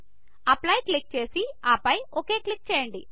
apply click చేసి ఆపై okay click చేయండి